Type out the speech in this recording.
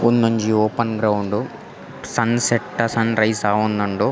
ಉಂದೊಂಜಿ open ground ಸನ್ಸೆಟ್ಟಾ ಸನ್ರೈಸಾ ಆವೊಂದುಂಡು.